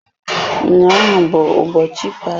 Ụnyaahụ bụ ụbọchị ikpeazụ m ga-abanyekwa ụlọ akụ aseesi ọzọ.